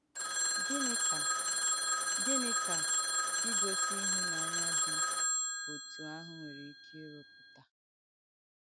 Gìní ka Gìní ka igòsi ìhùnànyà dị òtù àhụ̄ nwèrè ike ìrụ̀pùtà?